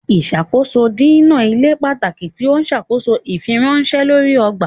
Ìṣàkóso dínà ilé pàtàkì tí ọ n ṣàkóso ifiweranṣẹ lórí ọgbà.